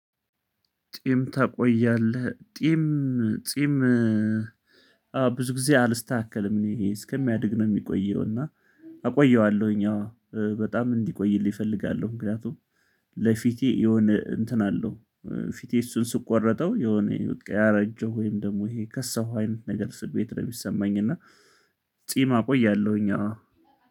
ጢም ታቆያለህ ጢም። ጢም ብዙ ጊዜ አልስተካከልም። እኔ ይሄ እስከሚያድግ ነው የሚቆየው እና አቆየዋለሁኝ። አዎ በጣም እንዲቆይልኝ እፈልጋለሁ። ምክንያቱም ለፊቴ የሆነ እንትን አለው። ፊቴ እሱን ስቆረጠው የሆነ ያረጀው ወይም ደግሞ ይሄ የከሳው አይነት ነገር ስሜት ነው የሚሰማኝ እና ጺም አቆያለሁኝ አዎ